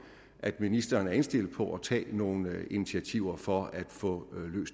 at ministeren er indstillet på at tage nogle initiativer for at få